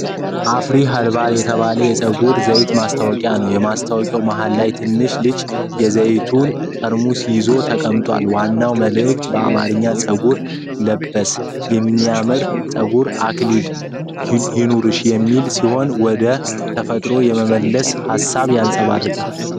የአፍሪ ኸርባል የተባለ የፀጉር ዘይት ማስታወቂያ ነው። ማስታወቂያው መሃል ላይ ትንሽ ልጅ የዘይቱን ጠርሙስ ይዞ ተቀምጧል። ዋናው መልዕክት በአማርኛ "ጸጉር ለበስ፣ የሚያምር የፀጉር አክሊል ይኑርሽ!" የሚል ሲሆን፣ ወደ ተፈጥሮ የመመለስን ሀሳብ ያንፀባርቃል።